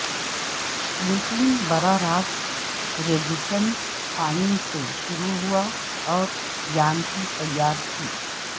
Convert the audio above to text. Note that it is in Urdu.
لیکن براہ راست ریگیٹن فائن سے شروع ہوا اور یانکی تیار تھی